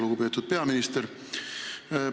Lugupeetud peaminister!